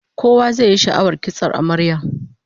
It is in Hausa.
Kowa zai yi sha'awar kitson amaryar